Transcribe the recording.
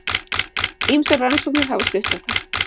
Ýmsar rannsóknir hafa stutt þetta.